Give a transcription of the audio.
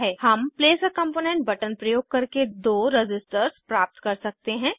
हम प्लेस आ component button प्रयोग करके दो रज़िस्टर्स प्राप्त कर सकते हैं